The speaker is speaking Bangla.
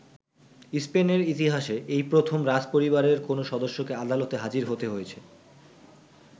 স্পেনের ইতিহাসে এই প্রথম রাজপরিবারের কোনো সদস্যকে আদালতে হাজির হতে হয়েছে।